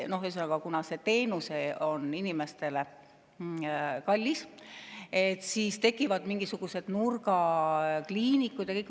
Ühesõnaga, kuna see teenus on inimestele kallis, siis tekivad mingisugused nurgakliinikud.